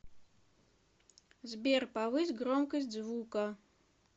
сбер повысь громкость звука